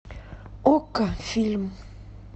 окко фильм